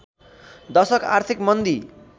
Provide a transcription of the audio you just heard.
दशक आर्थिक मन्दी